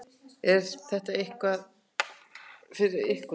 Er þetta ekki eitthvað fyrir ykkur